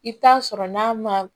I bɛ taa sɔrɔ n'a ma